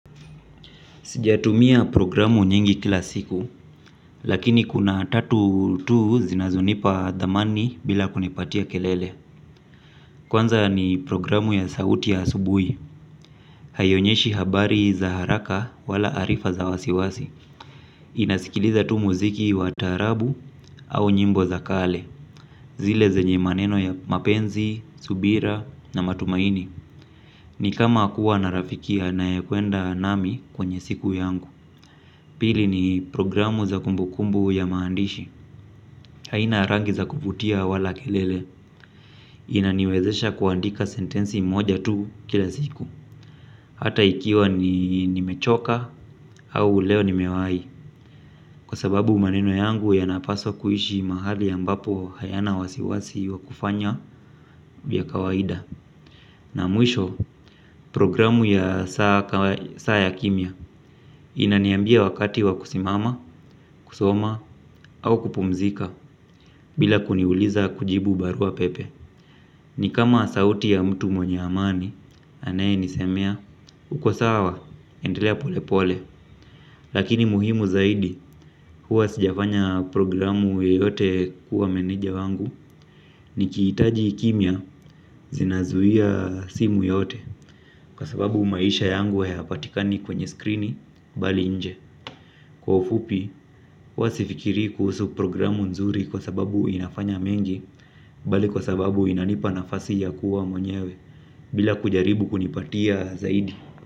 Sijatumia programu nyingi kila siku, lakini kuna tatu tu zinazonipa thamani bila kunipatia kelele. Kwanza ni programu ya sauti ya asubuhi. Haionyeshi habari za haraka wala arifa za wasiwasi. Inasikiliza tu muziki wa taarabu au nyimbo za kale. Zile zenye maneno ya mapenzi, subira na matumaini. Ni kama kuwa na rafiki anaekwenda nami kwenye siku yangu. Pili ni programu za kumbukumbu ya maandishi. Haina rangi za kuvutia wala kelele. Inaniwezesha kuandika sentensi moja tu kila siku. Hata ikiwa nimechoka au leo ni nimewahi. Kwa sababu maneno yangu yanapaswa kuishi mahali ambapo hayana wasiwasi wa kufanya vya kawaida. Na mwisho programu ya saa ya kimya. Inaniambia wakati wa kusimama, kusoma au kupumzika. Bila kuniuliza kujibu barua pepe. Ni kama sauti ya mtu mwenye amani anayenisemea uko sawa endelea pole pole. Lakini muhimu zaidi huwa sijafanya programu yeyote kuwa meneja wangu. Nikihitaji kimya. Zinazuia simu yote. Kwa sababu maisha yangu hayapatikani kwenye skrini bali nje. Kwa ufupi huwa sifikiri kuhusu programu nzuri. Kwa sababu inafanya mengi. Bali kwa sababu inanipa nafasi ya kuwa mwenyewe bila kujaribu kunipatia zaidi.